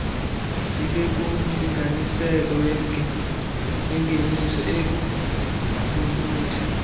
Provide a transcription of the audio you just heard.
zibekumlinganiselo wengeniso enokuvutha